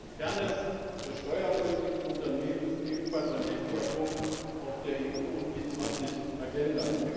Die Fairness der Steuerpolitik für Unternehmen ist ebenfalls ein wichtiger Punkt auf der EU und G20 Agenda.